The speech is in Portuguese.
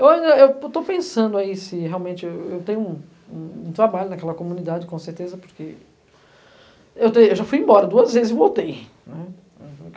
Hoje eu estou pensando aí se realmente... Eu eu eu tenho um um um trabalho naquela comunidade, com certeza, porque... Eu tem, eu já fui embora duas vezes e voltei